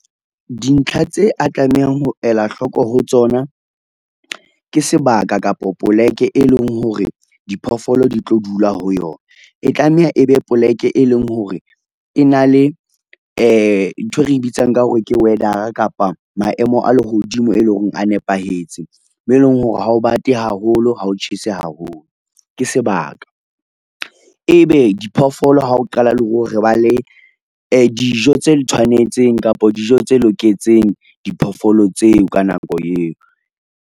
Dintlha tse a tlamehang ho ela hloko ho tsona, ke sebaka kapa poleke e leng hore diphoofolo di tlo dula ho yona. E tlameha e be poleke e leng hore, e na le nthwe re e bitsang ka hore ke weather-a kapa maemo a lehodimo, e leng hore a nepahetse, mo eleng hore ha o bate haholo ha o tjhese haholo, ke sebaka. Ebe diphoofolo hao qala ba le dijo tse tshwanetseng kapa dijo tse loketseng diphoofolo tseo, ka nako eo.